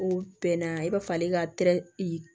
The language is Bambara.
O bɛn na i b'a fɔ ale ka